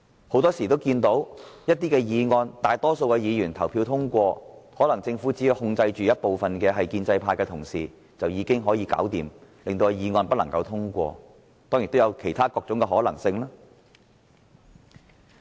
很多時候，議案本來得到大多數議員支持，但政府只要控制建制派議員，便可令議案不獲通過，當然亦有其他各種可能性。